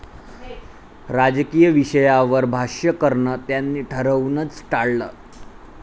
राजकीय विषयावर भाष्य करणं त्यांनी ठरवूनच टाळलं.